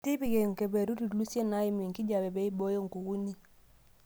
Tipika ekeperut ilusien naaimu enkijape pee eibooyo nkukuni.